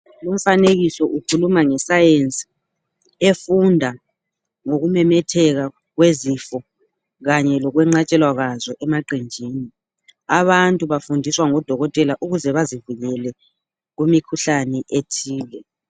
Umfanekiso ukhuluma nge science efunda ngokumemetheka kwezifo kanye lokwenqatshelwa kwazo emaqenjini. Abantu bafundiswa ngudokotela ukuze bazivikele kumikhuhlane ethile.